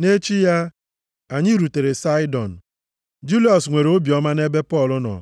Nʼechi ya, anyị rutere Saịdọn. Juliọs nwere obiọma nʼebe Pọl nọ.